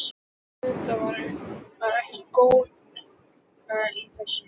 Auðvitað var ekki glóra í þessu.